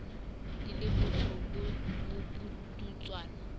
di le botsho bo bopudutswana